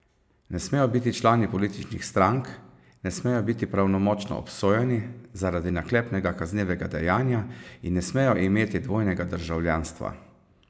Ne smejo biti člani političnih strank, ne smejo biti pravnomočno obsojeni zaradi naklepnega kaznivega dejanja in ne smejo imeti dvojnega državljanstva.